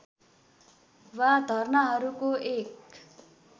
वा धर्नाहरूको एक